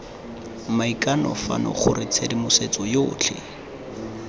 maikano fano gore tshedimosetso yotlhe